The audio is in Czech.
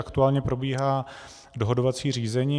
Aktuálně probíhá dohodovací řízení.